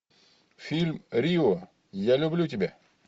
фильм рио я люблю тебя